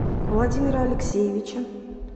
владимира алексеевича